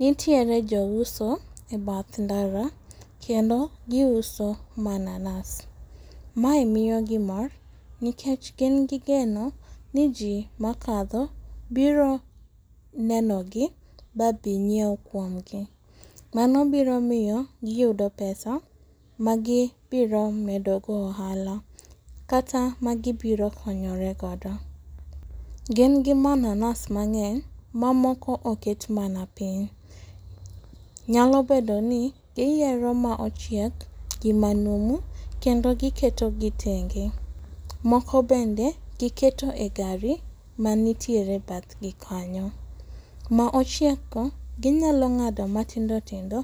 Nitiere jouso ebath ndara kendo gi uso mananas. Mae miyogi mor nikech gin gi geno ni jii makadho biro nenogi mabi nyiew kuomgi. Mano biro miyo gi yudo pesa magibiro medogo ohala kata magi biro konyore godo. Gin gi mananas mang'eny mamoko oket mana piny. Nyalo bedoni giyiero maochiek gi manumu kendo gi ketogi tenge moko bende giketo egari manitiere ebathgi kanyo. Ma ochiekgo ginyalo ng'ado matindo tindo